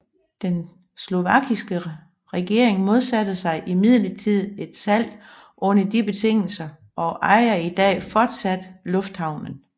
Den slovakiske regering modsatte sig imidlertid et salg under de betingelser og ejer i dag fortsat lufthavnen